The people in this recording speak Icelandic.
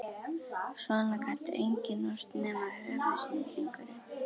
Svona gat enginn ort nema höfuðsnillingurinn